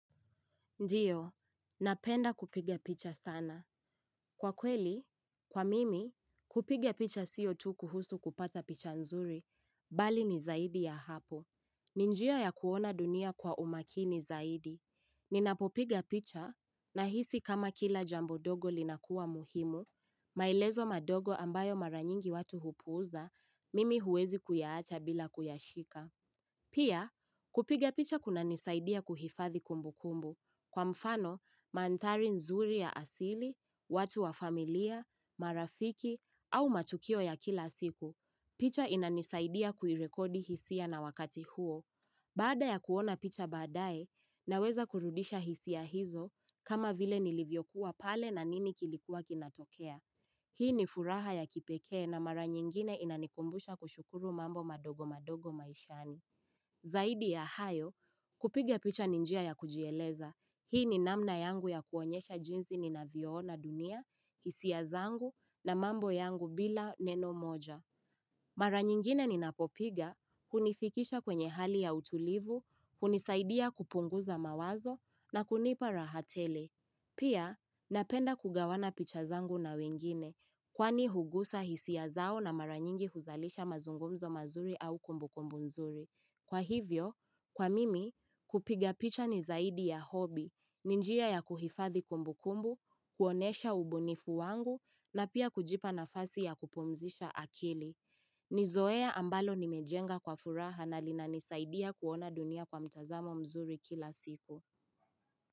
Ndiyo, napenda kupiga picha sana. Kwa kweli, kwa mimi, kupiga picha sio tu kuhusu kupata picha nzuri, bali ni zaidi ya hapo. Ni njia ya kuona dunia kwa umakini zaidi. Ninapopiga picha, nahisi kama kila jamb dogo linakuwa muhimu, maelezo madogo ambayo mara nyingi watu hupuuza, mimi huwezi kuyaacha bila kuyashika. Pia, kupiga picha kunanisaidia kuhifadhi kumbukumbu. Kwa mfano, mandhari nzuri ya asili, watu wa familia, marafiki, au matukio ya kila siku, picha inanisaidia kuirekodi hisia na wakati huo. Baada ya kuona picha badae, naweza kurudisha hisia hizo kama vile nilivyokuwa pale na nini kilikuwa kinatokea. Hii ni furaha ya kipekee na mara nyingine inanikumbusha kushukuru mambo madogo madogo maishani. Zaidi ya hayo, kupiga picha ni njia ya kujieleza. Hii ni namna yangu ya kuonyesha jinzi ni navyoona dunia, hisia zangu na mambo yangu bila neno moja. Mara nyingine ninapopiga, kunifikisha kwenye hali ya utulivu, kunisaidia kupunguza mawazo na kunipa raha tele. Pia, napenda kugawana picha zangu na wengine, kwani hugusa hisi zao na mara nyingi huzalisha mazungumzo mazuri au kumbukumbu nzuri. Kwa hivyo, kwa mimi, kupiga picha ni zaidi ya hobi, ni njia ya kuhifathi kumbukumbu, kuonesha ubunifu wangu na pia kujipa nafasi ya kupumzisha akili. Ni zoea ambalo nimejenga kwa furaha na linanisaidia kuona dunia kwa mtazamo mzuri kila siku.